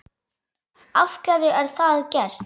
Af hverju er það gert?